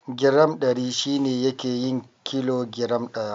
Giram Ɗari shi ne yake yin kilo giram ɗaya.